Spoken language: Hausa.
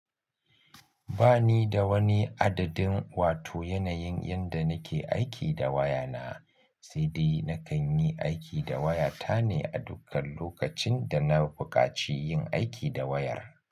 Ba ni da wani adadin wato yanayin yadda nake aiki da waya na, sai dai na kan yi aiki da waya ta ne a dukkan lokacin da na bukaci yin aiki da wayar.